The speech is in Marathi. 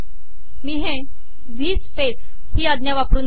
मी हे व्ही स्पेस ही आज्ञा वापरून करते